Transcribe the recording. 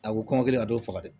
A ko kɔngɔ kɛlen ka dɔw faga dɛ